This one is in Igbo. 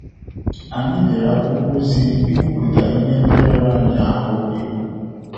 Anyị dere akwụkwọ ozi ikwuputa ihe ndị rara anyị ahụ ikwu